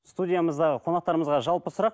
студиямыздағы қонақтарымызға жалпы сұрақ